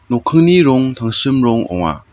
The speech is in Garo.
nokkingni rong tangsim rong ong·a.